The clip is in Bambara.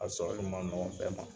A sɔrɔli ma nɔgɔ bɛɛ ma.